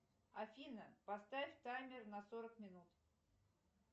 афина поставь таймер на сорок минут